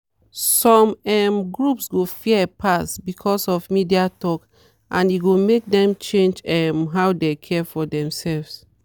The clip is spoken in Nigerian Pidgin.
some um groups go fear pass because of media talk and e go make dem change um how dem care for themselves.